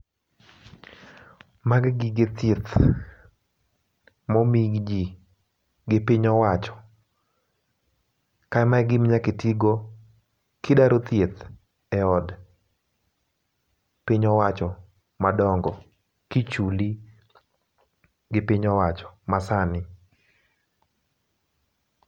Magi gige thieth ma omii jii gi piny owacho ka mae e gima nyaka itigo kidwaro thieth e od piny owacho madongo kichuli gi piny owacho masani